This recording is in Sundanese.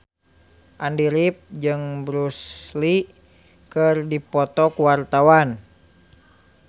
Andy rif jeung Bruce Lee keur dipoto ku wartawan